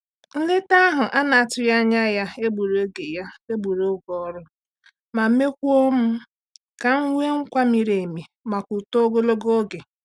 Nleta ahụ a na-atụghị anya ya egburu oge ya egburu oge ọrụ, ma mekwuo m nka nwe nkwa mmiri emi maka uto ogologo oge.